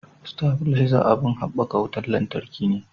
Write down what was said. Stafileza abin habbakan wutan lantarki ne